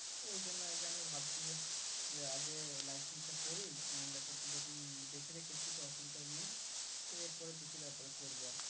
ওই জন্য আরকি আমি ভাবছি যে যে আগে license টা করি একটা তো দোকান দেখে রেখেছি তো অসুবিধা নেই এরপরে ব্যাপারে করবো আরকি